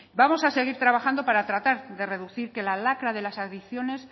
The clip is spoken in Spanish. vamos a seguir trabajando para tratar de reducir para que la lacra de las adicciones